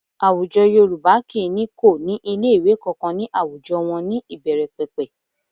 Àwùjọ Yorùbá kì í ní kò ní ilé ìwé kankan ní àwùjọ wọn ní ìbẹ̀rẹ̀pẹ̀pẹ̀